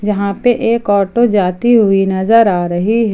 यहां पे एक ऑटो जाती हुई नजर आ रही है।